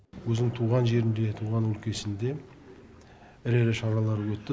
өзін туған жерінде туған өлкесінде ірі ірі шаралар өтті